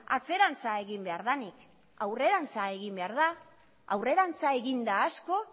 atzerantza egin behar denik aurrerantza egin behar da aurrerantza egin da asko